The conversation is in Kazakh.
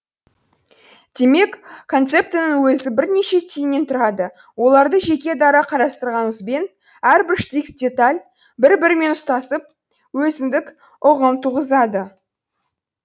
демек концептінің өзі бірнеше түйіннен тұрады оларды жеке дара қарастырғанымызбен әрбір штрих деталь бір бірімен ұстасып өзіндік ұғым туғызады